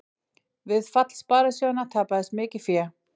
Við fall sparisjóðanna tapaðist mikið fé